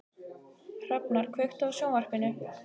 Hrafnar, kveiktu á sjónvarpinu.